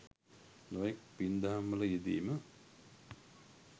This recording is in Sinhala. නොයෙක් පින් දහම් වල යෙදීම